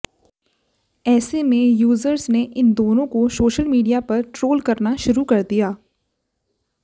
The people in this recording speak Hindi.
ऐसे में यूजर्स ने इन दोनों को सोशल मीडिया पर ट्रोल करना शुरु कर दिया